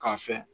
K'a fɛ